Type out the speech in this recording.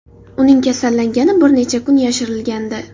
Uning kasallangani bir necha kun yashirilgandi .